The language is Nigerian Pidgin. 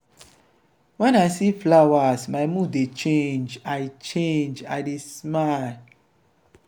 wen i see flowers my mood dey change i change i dey smile.